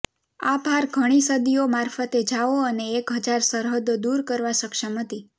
આ ભાર ઘણી સદીઓ મારફતે જાઓ અને એક હજાર સરહદો દૂર કરવા સક્ષમ હતી